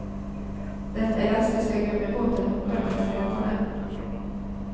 Den elastiska gummibåten hoppar mellan vågorna.